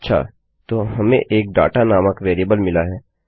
अच्छा तो हमें एक दाता नामक वेरिएबल मिली है